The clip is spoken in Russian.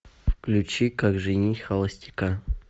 включи как женить холостяка